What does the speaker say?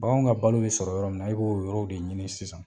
Baganw ka balo bɛ sɔrɔ yɔrɔ min na i b'o yɔrɔw de ɲini sisan.